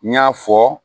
N y'a fɔ